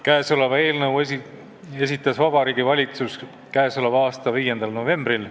Käesoleva eelnõu esitas Vabariigi Valitsus k.a 5. novembril.